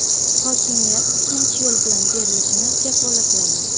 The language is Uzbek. Hokimiyat tinch yo‘l bilan berilishini kafolatlayman.